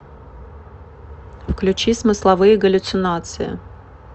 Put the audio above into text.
включи смысловые галлюцинации